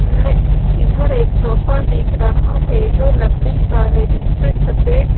में इधर एक सोफा दिख रहा है जो लकड़ी का है जिसपे सफेद--